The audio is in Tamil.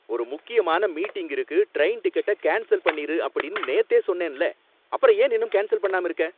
'ஒரு முக்கியமான மீட்டிங் இருக்கு, ட்ரெயின் டிக்கெட்ட கேன்ஸல் பண்ணிரு' அப்படின்னு நேத்தே சொன்னேன்ல, அப்புறம் ஏன் இன்னும் கேன்சல் பண்ணாம இருக்க!